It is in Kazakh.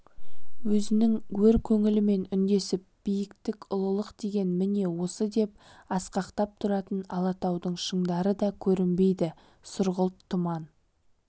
өзінің өр көңілімен үндесіп биіктік ұлылық деген міне осы деп асқақтап тұратын алатаудың шыңдары да көрінбейді сұрғылт тұман